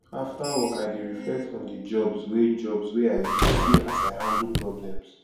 after work i dey reflect on the jobs wey jobs wey i do see as i handle problems